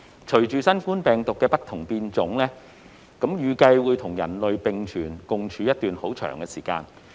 隨着新冠病毒不停變種，預計會與人類並存一段長時間。